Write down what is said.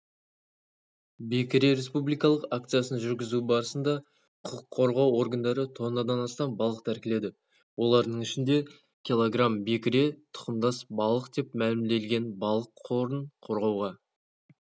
бекіре республикалық акциясын жүргізу барысында құқыққорғау органдары тоннадан астам балық тәркіледі олардың ішінде кгбекіре тұқымдас балық деп мәлімделген балық қорын қорғауға